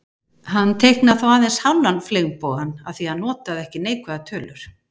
Hann teiknaði þó aðeins hálfan fleygbogann af því að hann notaði ekki neikvæðar tölur.